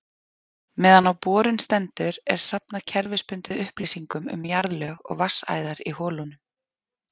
Meðan á borun stendur er safnað kerfisbundið upplýsingum um jarðlög og vatnsæðar í holunum.